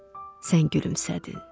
sən gülümsədin.